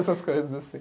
Essas coisas assim.